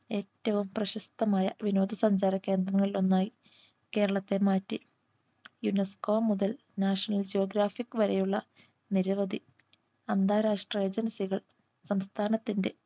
ഏറ്റവും പ്രശസ്തമായ വിനോദസഞ്ചാര കേന്ദ്രങ്ങളിൽ ഒന്നായി കേരളത്തെ മാറ്റി UNESCO മുതൽ National geographic വരെയുള്ള നിരവധി അന്താരാഷ്ട്ര Agency കൾ സംസ്ഥാനത്തിന്റെ